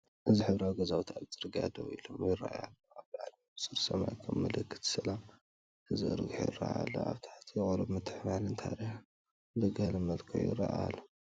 እዚ ሕብራዊ ገዛውቲ ኣብቲ ጽርግያ ደው ኢሎም ይረኣዩ ኣለው። ኣብ ላዕሊ ንጹር ሰማይ ከም ምልክት ሰላም ተዘርጊሑ ይረአ ኣሎ። ኣብ ታሕቲ ቁሩብ ምትሕብባርን ታሪኽን ብገለ መልክዑ ይረአ ኣሎ።